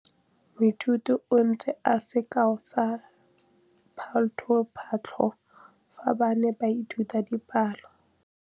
Moithuti o neetse sekaô sa palophatlo fa ba ne ba ithuta dipalo.